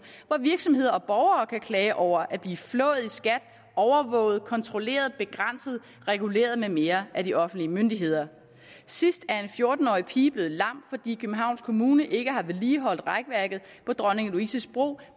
hvor virksomheder og borgere kan klage over at blive flået i skat overvåget kontrolleret begrænset reguleret med mere af de offentlige myndigheder sidst er en fjorten årig pige blevet lam fordi københavns kommune ikke har vedligeholdt rækværket på dronning louises bro